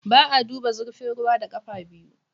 Ba a duba zurfin ruwa da ƙafa biyu.